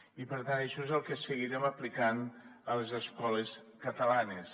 i per tant això és el que seguirem aplicant a les escoles catalanes